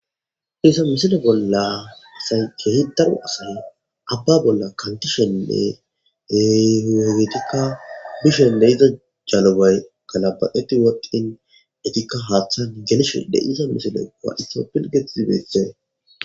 diisa misilo bolla asay kehidaru asay abba bolla kantishennehiyogetikka mishen de iza jalubay galabaqeti wodqin etikka haaththan gelish deiisa misile wa7itopilget ibeethee